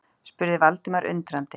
spurði Valdimar undrandi.